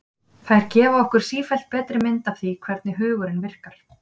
þær gefa okkur sífellt betri mynd af því hvernig hugurinn virkar